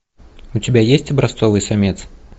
у тебя есть образцовый самец